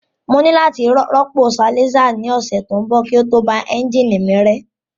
Mo ní láti rọ́pò silencer ní ọ̀sẹ̀ tó ń bọ̀ kí ó tó ba ẹ́ńjìnì mi rẹ́